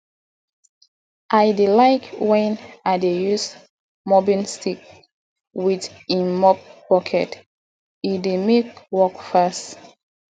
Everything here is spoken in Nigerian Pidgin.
i dey like wen i dey use mopping stick wit im mop bucket e dey mek work fast